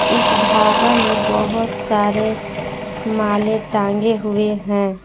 इस ढाबा में बहुत सारे माले टांगे हुए हैं।